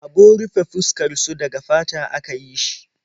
Abun rufe fuskar su daga fata aka yi shi.